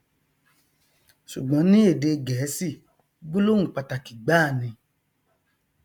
ṣùgbọn ní èdè gẹẹsì gbólóhùn pàtàkì gbáà ni